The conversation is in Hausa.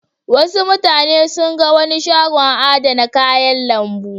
Wasu mutane sun ga wani shagon adana kayan lambu.